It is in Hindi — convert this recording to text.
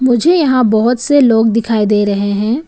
मुझे यहां बहोत से लोग दिखाई दे रहे हैं।